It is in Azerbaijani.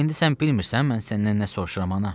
İndi sən bilmirsən, mən səndən nə soruşuram, ana?